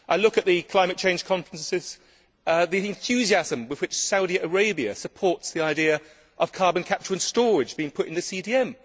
I look at the climate change conferences, the enthusiasm with which Saudi Arabia supports the idea of carbon capture and storage being put in the CDM.